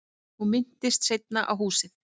Hún minntist seinna á húsið.